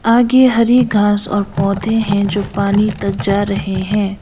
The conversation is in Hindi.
आगे हरी घास और पौधे हैं जो पानी तक जा रहे हैं।